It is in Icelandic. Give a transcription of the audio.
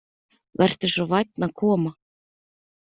Vertu svo vænn að koma.